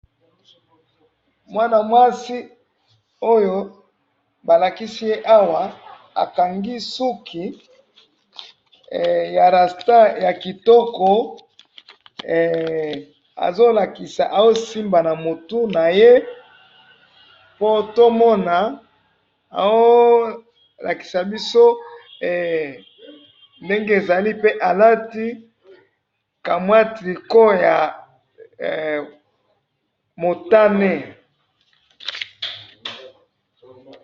mwana mwasi oyo balikisi ye awa akangi suki ya rasta ya kitoko azo lakisa azo simba na mutu naye po to mona azo lakisa ndenge ezala pe alati ka moya tricot ya motane